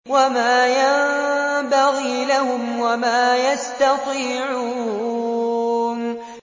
وَمَا يَنبَغِي لَهُمْ وَمَا يَسْتَطِيعُونَ